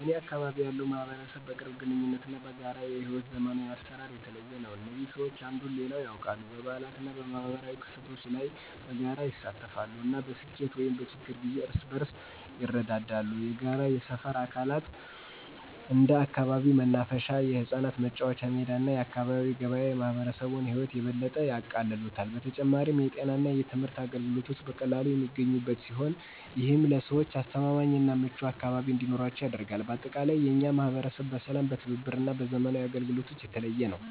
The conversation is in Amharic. በእኔ አካባቢ ያለው ማህበረሰብ በቅርብ ግንኙነት እና በጋራ የሕይወት ዘመናዊ አሰራር የተለየ ነው። እዚህ ሰዎች አንዱን ሌላው ያውቃል፣ በበዓላት እና በማኅበራዊ ክስተቶች ላይ በጋራ ይሳተፋሉ፣ እና በስኬት ወይም በችግር ጊዜ እርስ በርስ ይረዳዋል። የጋራ የሰፈር አካላት እንደ አካባቢው መናፈሻ፣ የህጻናት መጫወቻ ሜዳ እና የአካባቢ ገበያ የማህበረሰቡን ህይወት የበለጠ ያቃልሉታል። በተጨማሪም፣ የጤና እና የትምህርት አገልግሎቶች በቀላሉ የሚገኙበት ሲሆን፣ ይህም ለሰዎች አስተማማኝ እና ምቹ አካባቢ እንዲኖራቸው ያደርጋል። በአጠቃላይ፣ የእኛ ማህበረሰብ በሰላም፣ በትብብር እና በዘመናዊ አገልግሎቶች የተለየ ነው።